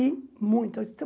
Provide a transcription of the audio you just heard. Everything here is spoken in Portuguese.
E muita. Então